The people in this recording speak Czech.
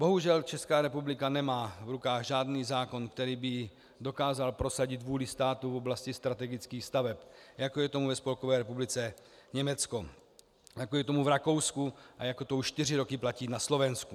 Bohužel Česká republika nemá v rukách žádný zákon, který by dokázal prosadit vůli státu v oblasti strategických staveb, jako je tomu ve Spolkové republice Německo, jako je tomu v Rakousku a jako to už čtyři roky platí na Slovensku.